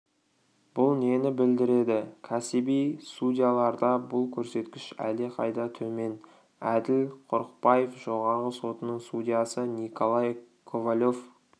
бұл нені білдіреді кәсіби судьяларда бұл көрсеткіш әлдеқайда төмен әділ құрықбаев жоғарғы сотының судьясы николай ковалев